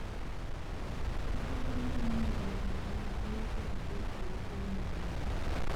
Puodho cham nyalo miyo joot ma nigi yuto matin oyud chiemo maber